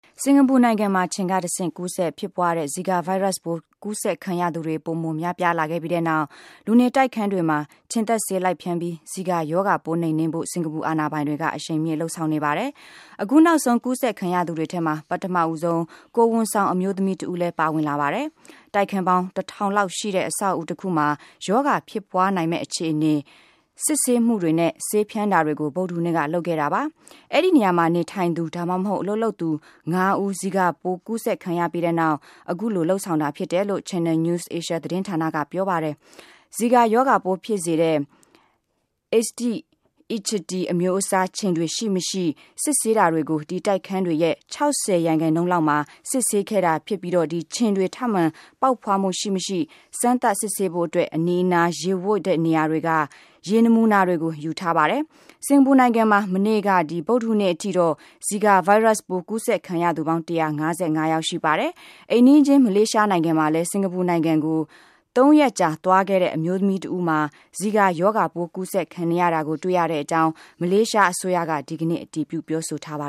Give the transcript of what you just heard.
စင်ကာပူနိုင်ငံမှာ ခြင်ကတဆင့် ကူးစက်ဖြစ်ပွားတဲ့ ဇီကာ ဗိုင်းရပ်စ်ပိုး ကူးစက်ခံရသူတွေ ပိုမို များပြားလာခဲ့ပြီးတဲ့နောက် လူနေတိုက်ခန်း တွေမှာ ခြင်သတ်ဆေး လိုက်ဖြန်းပြီး ဇီကာရောဂါပိုး နှိမ်နင်းဖို့ စင်ကာပူ အာဏာပိုင်တွေက အရှိန်မြင့်လုပ်ဆောင်နေပါတယ်။ အခုနောက်ဆုံး ကူးစက်ခံရသူတွေထဲမှာ ပထမဆုံး ကိုယ်ဝန်ဆောင်အမျိုးသမီးတဦးလည်း ပါဝင်လာပါတယ်။ တိုက်ခန်းပေါင်း ၁ ထောင်လောက်ရှိတဲ့ အဆောက်အဦးတခုမှာ ရောဂါ ဖြစ်ပွားနိုင်မယ့် အခြေအနေ စစ်ဆေးမှုတွေနဲ့ ဆေးဖြန်းတာတွေကို ဗုဒ္ဓဟူးနေ့က လုပ်ခဲ့တာပါ။ အဲဒီနေရာမှာ နေထိုင်သူ ဒါမှမဟုတ် အလုပ်လုပ်သူ ၅ ဦး ဇီကာရောဂါပိုး ကူးစက်ခံရပြီးတဲ့နောက် အခုလို လုပ်ဆောင်တာဖြစ်တယ်လို့ Channel News Asia သတင်းဌာနက ပြောပါတယ်။ ဇီကာရောဂါပိုးဖြစ်စေတဲ့ အေးဒိစ် အီဂျစ်ပ်တီ အမျိုးအစားခြင်တွေ ရှိမရှိ စစ်ဆေးတာတွေကို ဒီ တိုက်ခန်းတွေရဲ့ ၆၀ ရာခိုင်နှုန်းလောက်မှာ စစ်ဆေးခဲ့ပြီး ဖြစ်ပြီး ခြင်တွေ ထပ်မံ ပေါက်ဖွားမှု ရှိမရှိ စမ်းသပ် စစ်ဆေးဖို့အတွက် အနီးအနား ရေဝပ်တဲ့နေရာတွေက ရေနမူနာတွေကို ယူထားပါတယ်။ စင်ကာပူနိုင်ငံမှာ မနေ့က ဗုဒ္ဓဟူးနေ့အထိတော့ ဇီကာဗိုင်းရပ်စ်ပိုး ကူးစက်ခံရသူ ပေါင်း ၁၅၅ ယောက် ရှိပါတယ်။ အိမ်နီးချင်း မလေးရှားနိုင်ငံမှာလည်း စင်ကာပူနိုင်ငံကို သုံးရက်ကြာ သွားခဲ့တဲ့ အမျိုးသမီးတဦးမှာ ဇီကာရောဂါပိုး ကူးစက်ခံနေရတာကို တွေ့ရတဲ့အကြောင်း မလေးရှားအစိုးရက ဒီကနေ့ အတည်ပြု ပြောဆိုထားပါ